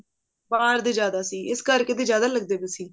ਬਾਹਰ ਦੇ ਜਿਆਦਾ ਸੀ ਇਸ ਕਰਕੇ ਤਾਂ ਜਿਆਦਾ ਲੱਗਦੇ ਪਾਏ ਸੀ